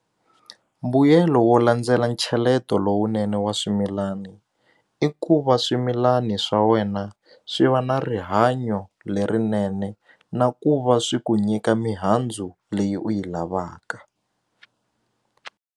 Mbuyelo wo landzela ncheleto lowunene wa swimilana i ku va swimilani swa wena swi va na rihanyo lerinene na ku va swi ku nyika mihandzu leyi u yi lavaka.